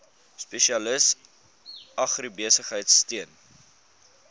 spesialis agribesigheid steun